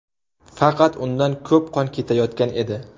Faqat undan ko‘p qon ketayotgan edi.